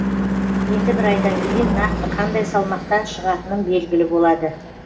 енді бір айдан кейін нақты қандай салмақта шығатыным белгілі болады